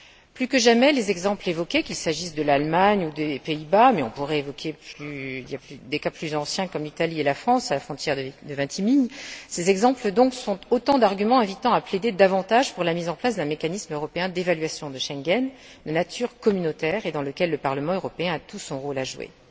Plus que jamais, les exemples évoqués qu'il s'agisse de l'Allemagne ou des Pays Bas, mais on pourrait rappeler des cas plus anciens comme l'Italie et la France, à la frontière de Vintimille sont autant d'arguments invitant à plaider davantage pour la mise en place d'un mécanisme européen d'évaluation de Schengen, de nature communautaire et dans lequel le Parlement aurait tout son rôle à jouer.